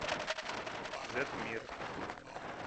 зет мир